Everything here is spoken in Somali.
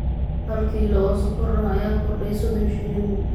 hal kiilo oo sonkor ah ayaa kordhay soddon shilin